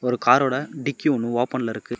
ஒரு கார் ஓட டிக்கி ஒன்னு ஓபன் ல இருக்கு.